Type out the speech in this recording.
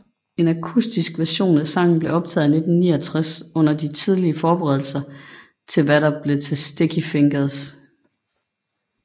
En akustisk version af sangen blev optaget i 1969 under de tidlige forberedelser til hvad der blev til Sticky Fingers